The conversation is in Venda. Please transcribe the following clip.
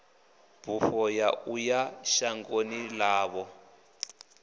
bufho ya uya shangoni ḽavho